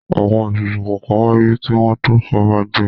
Àwọn ètùtù kọ̀ọ̀kan wáyé kí wọ́n tó fọba jẹ.